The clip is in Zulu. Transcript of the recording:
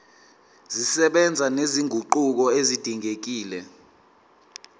zisebenza nezinguquko ezidingekile